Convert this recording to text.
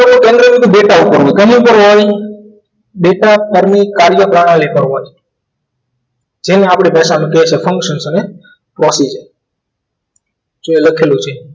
તો પંદર મિનિટનો દેખાવ કરવું કમુતરું આવી data પરની કાર્યપ્રણાલી કરવી જેને આપણી ભાષામાં કહીશું function અને causes જે લખેલું છે